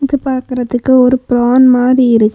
இது பாக்கறதுக்கு ஒரு பிரான் மாரி இருக்--